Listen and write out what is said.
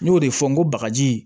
N y'o de fɔ n ko bagaji